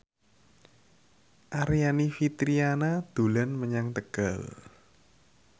Aryani Fitriana dolan menyang Tegal